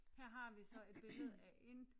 Her har vi så et billede af en